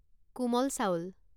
কোমল চাউল